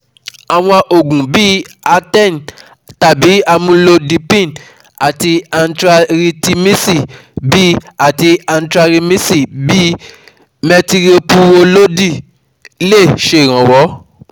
Àwọn òògùn bí i Aten tàbí amulodipíìnì àti anitiaritimíìsì bí àti anitiaritimíìsì bí i metiropurolóòlì lẹ̀ ṣèrànwọ́